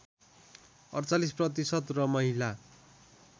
४८ प्रतिशत र महिला